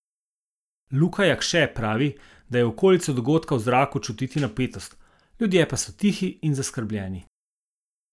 Luka Jakše pravi, da je v okolici dogodka v zraku čutiti napetost, ljudje pa so tihi in zaskrbljeni.